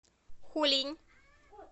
хулинь